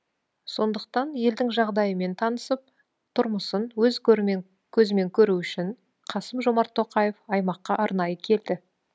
сондықтан елдің жағдайымен танысып тұрмысын өз көзімен көру үшін қасым жомарт тоқаев аймаққа арнайы келді